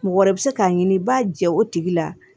Mɔgɔ wɛrɛ bɛ se k'a ɲini i b'a jɛ o tigi la